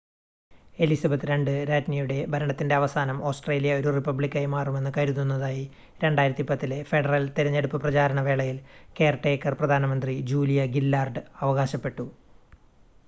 Elizabeth ii രാജ്ഞിയുടെ ഭരണത്തിൻ്റെ അവസാനം ഓസ്ട്രേലിയ ഒരു റിപ്പബ്ലിക്കായി മാറുമെന്ന് കരുതുന്നതായി 2010-ലെ ഫെഡറൽ തെരഞ്ഞെടുപ്പ് പ്രചാരണ വേളയിൽ കെയർ ടേക്കർ പ്രധാനമന്ത്രി ജൂലിയ ഗില്ലാർഡ് അവകാശപ്പെട്ടു